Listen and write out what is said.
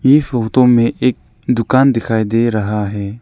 इ फोटो में एक दुकान दिखाई दे रहा है।